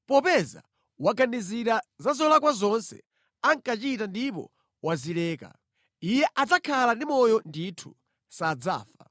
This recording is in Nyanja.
Popeza waganizira za zolakwa zonse ankachita ndipo wazileka, iye adzakhala ndi moyo ndithu; sadzafa.